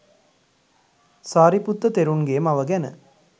සාරිපුත්ත තෙරුණ්ගේ මව ගැන